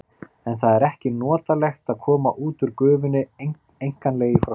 En það er ekki notalegt að koma út úr gufunni einkanlega í frosti.